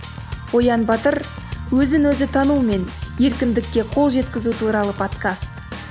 оян батыр өзін өзін танумен еркіндікке қол жеткізу туралы подкаст